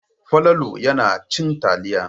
Falalu yana cin taliya.